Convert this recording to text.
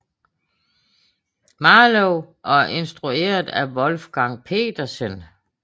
Marlowe og instrueret af Wolfgang Petersen